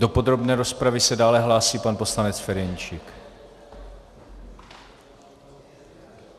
Do podrobné rozpravy se dále hlásí pan poslanec Ferjenčík.